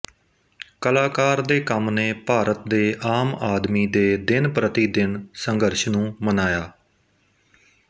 ਕਲਾਕਾਰ ਦੇ ਕੰਮ ਨੇ ਭਾਰਤ ਦੇ ਆਮ ਆਦਮੀ ਦੇ ਦਿਨ ਪ੍ਰਤੀ ਦਿਨ ਸੰਘਰਸ਼ ਨੂੰ ਮਨਾਇਆ